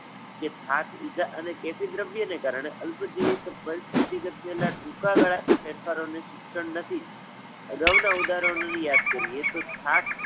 કે થાક બીજા અને કેફી દ્રવ્યો ને કારણે, અલ્પજીવી પરિસ્થિતી પ્રત્યે ના ટુકા ગાળા ના ફેરફારો ણે શિક્ષણ નથી. અગાઉ ના ઉદાહરણો ને યાદ કરીએ તો થાક